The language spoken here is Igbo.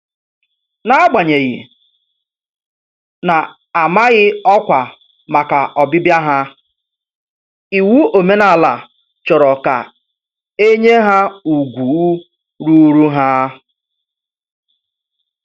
N'agbanyeghị na -amaghị ọkwa màkà ọbịbịa ha, iwu omenala chọrọ ka enye ha ùgwù ruuru ha.